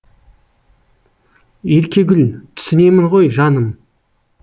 еркегүл түсінемін ғой жаным